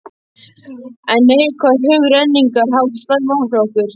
En neikvæðar hug renningar hafa svo slæm áhrif á okkur.